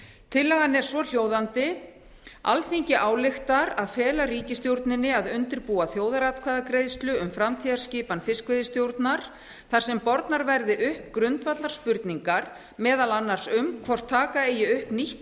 tillagan er svohljóðandi alþingi ályktar að fela ríkisstjórninni að undirbúa þjóðaratkvæðagreiðslu um framtíðarskipan fiskveiðistjórnar þar sem bornar verði upp grundvallarspurningar meðal annars um hvort taka eigi upp nýtt